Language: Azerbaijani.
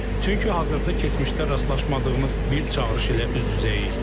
Çünki hazırda keçmişdə rastlaşmadığımız bir çağırış ilə üz-üzəyik.